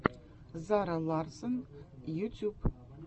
зара ларссон ютьюб